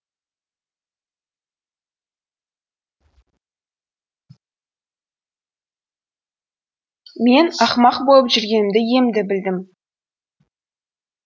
мен ақымақ болып жүргенімді емді білдім